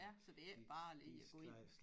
Ja så det ikke bare lige at gå ind